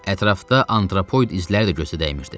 Ətrafda antropoid izləri də gözdə dəymirdi.